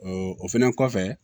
o fɛnɛ kɔfɛ